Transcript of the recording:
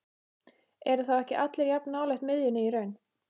Eru þá ekki allir jafn nálægt miðjunni í raun?